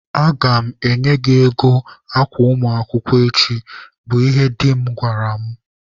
"Aga m enye gị ego akwa ụmụaka echi", bụ ihe di m gwara mụ.